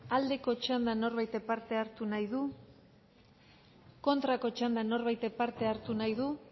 aldeko txandak norbaitek parte hartu nahi du kontrako txandan norbaitek parte hartu nahi du